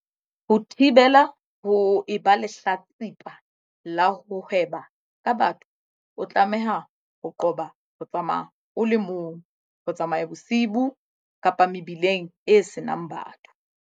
Ho thibela ho eba lehlatsi pa la ho hweba ka batho o tlameha ho qoba ho tsamaya o le mong, ho tsamaya bosiu kapa mebileng e senang batho.